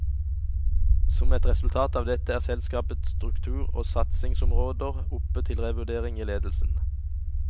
Som et resultat av dette er selskapets struktur og satsingsområder oppe til revurdering i ledelsen.